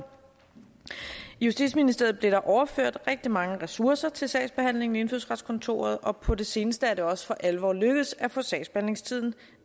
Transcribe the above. i justitsministeriet blev der overført rigtig mange ressourcer til sagsbehandlingen i indfødsretskontoret og på det seneste er det også for alvor lykkedes at få sagsbehandlingstiden